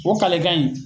O kalekan in